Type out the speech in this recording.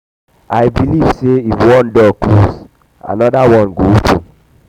i believe sey if one door close um anoda one go open. um